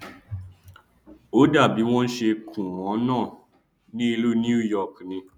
ó dàbí bí wọn ṣe kùn wọn náà ní ìlú new york ni